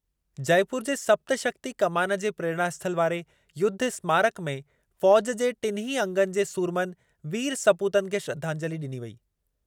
जयपुर जे सप्तशक्ति कमान जे प्रेरणास्थल वारे युद्धस्मारक में फ़ौज़ु जे टिन्हीं अंगनि जे सूरमनि वीर सपूतनि खे श्रधांजलि ॾिनी वेई।